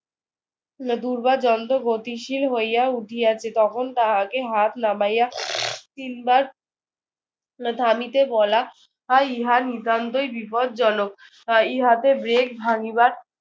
দুর্বার যন্ত্র গতিশীল হইয়া উঠিয়াছে। তখন তাহাকে হাত নামাইয়া তিনবার থামিতে বলা হয়। ইহা নিতান্তই বিপজ্জনক। আহ ইহাতে break ভাঙিবার